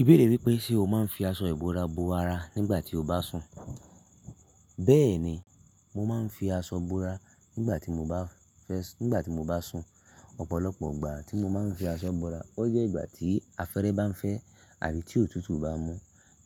Ibéèrè wípé ṣe o máa ń fi aṣọ ìbora bo ara nígbà tí o bá sùn? Bẹ́ẹ̀ni, mo máa ń fi aṣọ bora nígbà tí mo bá fẹ́ sùn. Ọ̀pọ̀lọpọ̀ ọgbà tí mo máa ń fi aṣọ bora, ó jẹ́ ìgbà tí afẹ́fẹ́ bá ń fẹ́ àbí tí òtútù bá mú.